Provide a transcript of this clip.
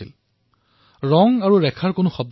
তাতে যোগেশ সৈনী আৰু তেওঁৰ দলে বৃহৎ ভূমিকা পালন কৰিছিল